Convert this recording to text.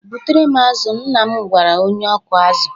"Butere m azụ, " nna m gwara onye ọkụ azụ.